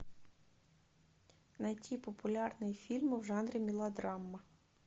найти популярные фильмы в жанре мелодрама